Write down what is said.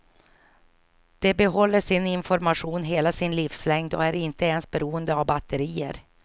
De behåller sin information hela sin livslängd och är inte ens beroende av batterier.